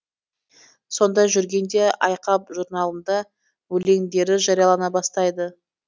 сонда жүргенде айқап журналында өлеңдері жариялана бастайды